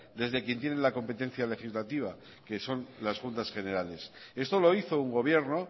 desde quien tiene la competencia legislativa que son las juntas generales esto lo hizo un gobierno